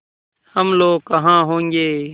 हम लोग कहाँ होंगे